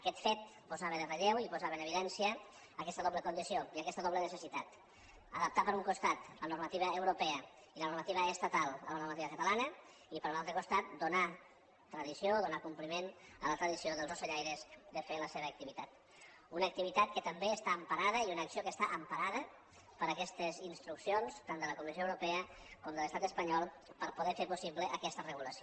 aquest fet posava en relleu i posava en evidència aquesta doble condició i aquesta doble necessitat adaptar per un costat la normativa catalana a la normativa europea i a la normativa estatal i per un altre costat donar tradició o donar compliment a la tradició dels ocellaires de fer la seva activitat una activitat que també està emparada i una acció que està emparada per aquestes instruccions tant de la comissió europea com de l’estat espanyol per poder fer possible aquesta regulació